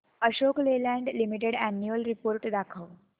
Ashok Leyland limited annual report दाखव